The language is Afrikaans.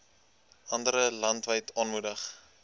andere landwyd aangemoedig